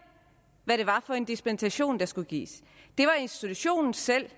hvad det var for en dispensation der skulle gives det var institutionen selv